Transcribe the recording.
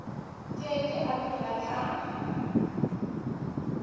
ke ke a phela ka